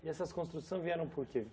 E essas construções vieram por quê?